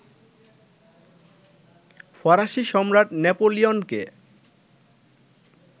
ফরাসি সম্রাট নেপোলিয়নকে